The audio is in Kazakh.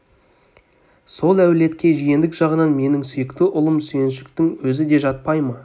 сол әулетке жиендік жағынан менің сүйікті ұлым сүйіншіктің өзі де жатпай ма